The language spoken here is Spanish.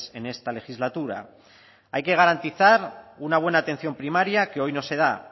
en esta legislatura hay que garantizar una buena atención primaria que hoy no se da